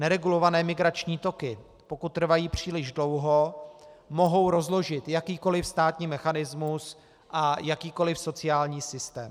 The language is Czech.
Neregulované migrační toky, pokud trvají příliš dlouho, mohou rozložit jakýkoli státní mechanismus a jakýkoli sociální systém.